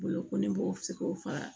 Bolokoli b'o se k'o faga